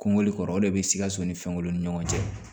Kɔngɔli kɔrɔ o de bɛ sikaso ni fɛnw ni ɲɔgɔn cɛ